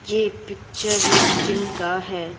ये पिक्चर एक जिम का है।